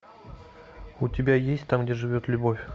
у тебя есть там где живет любовь